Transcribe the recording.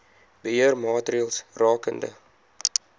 beheer maatreëls rakende